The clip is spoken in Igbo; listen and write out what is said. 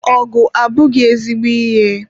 Ọgụ abụghị ezigbo ihe.